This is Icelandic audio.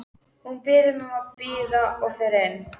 Hún biður mig að bíða og fer inn.